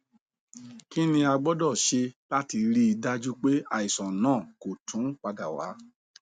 kini a gbọdọ ṣe lati rii daju pe aisan naa ko tun pada wa